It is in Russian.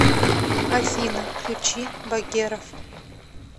афина включи багеров